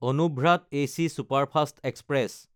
Anuvrat AC superfast express